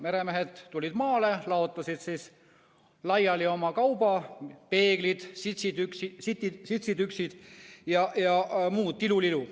Meremehed tulid maale, laotasid laiali oma kauba: peeglid sitsitükid ja muu tilulilu.